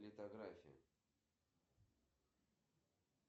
сбер зачем нужна балансная призма